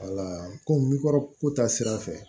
komi kɔrɔ ko ta sira fɛ